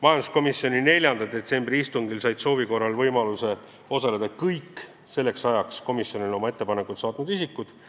Majanduskomisjoni 4. detsembri istungil said soovi korral osaleda kõik selleks ajaks komisjonile oma ettepanekud saatnud isikud.